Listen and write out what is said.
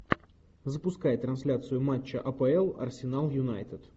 запускай трансляцию матча апл арсенал юнайтед